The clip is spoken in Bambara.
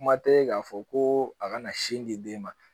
Kuma tɛ k'a fɔ ko a kana sin di den ma